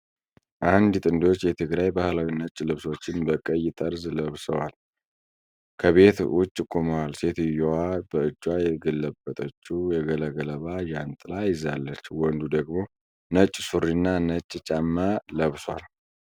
አንድ ጥንዶች የትግራይ ባህላዊ ነጭ ልብሶችን በቀይ ጠርዝ ለብሰው ከቤት ውጭ ቆመዋል። ሴትዮዋ በእጇ የገለበጠችው ባለገለባ ጃንጥላ ይዛለች፣ ወንዱ ደግሞ ነጭ ሱሪና ነጭ ጫማ ለብሷል።